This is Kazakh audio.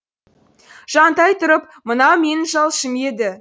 жантай тұрып мынау менің жалшым еді